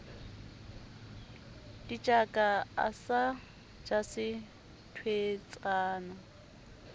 ditjaka a sa jese thweetsana